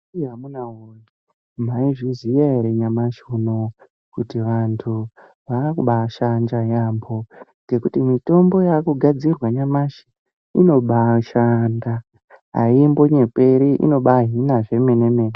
Amuna woye maizviziya ere nyamashi unoyu kuti vantu vakubashanja yaamho ngekuti mitombo yaakugadzirwa nyamashi inobashanda aimbonyeperi inobahina zvemene mene.